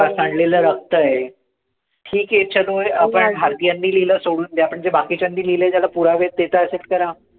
सांडलेलं रक्त आहे, ठिक आहे चलो आहे आपण हे भारतीयांनी लिहिलंय सोडून दया पण जे बाकीच्यांनी लिहिलंय त्याला पुरावे आहे ते तर accept करा.